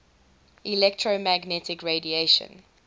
electromagnetic radiation